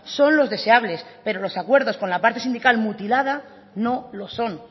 son los deseables pero los acuerdos con la parte sindical mutilada no lo son